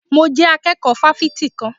Mo jẹ́ akẹ́kọ̀ọ́ fáfitì kan.